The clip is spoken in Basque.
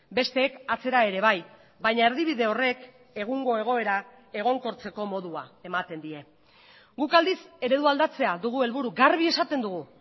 besteek atzera ere bai baina erdibide horrek egungo egoera egonkortzeko modua ematen die guk aldiz eredua aldatzea dugu helburu garbi esaten dugu